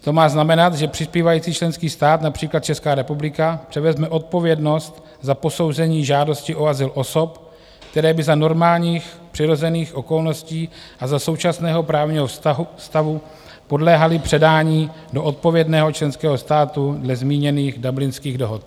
To má znamenat, že přispívající členský stát, například Česká republika, převezme odpovědnost za posouzení žádosti o azyl osob, které by za normálních přirozených okolností a za současného právního stavu podléhaly předání do odpovědného členského státu dle zmíněných Dublinských dohod.